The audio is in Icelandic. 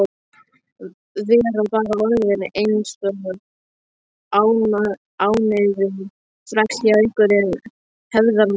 Vera bara orðinn eins og ánauðugur þræll hjá einhverjum hefðarmanni.